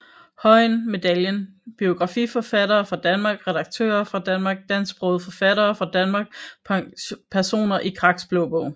Høyen Medaljen Biografiforfattere fra Danmark Redaktører fra Danmark Dansksprogede forfattere fra Danmark Personer i Kraks Blå Bog